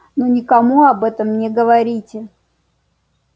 но никому об этом не говорите